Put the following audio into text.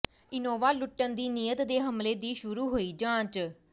Innova ਲੁੱਟਣ ਦੀ ਨੀਅਤ ਦੇ ਹਮਲੇ ਦੀ ਸ਼ੁਰੂ ਹੋਈ ਜਾਂਚ